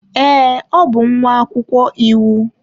Ee, ọ bụ nwa akwụkwọ iwu.